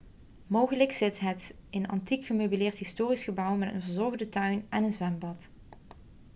mogelijk zit het in een antiek gemeubileerd historisch gebouw met een verzorgde tuin en een zwembad